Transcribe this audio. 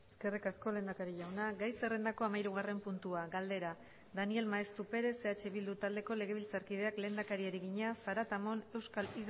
eskerrik asko lehendakari jauna gai zerrendako hamairugarren puntua galdera daniel maeztu perez eh bildu taldeko legebiltzarkideak lehendakariari egina zaratamon euskal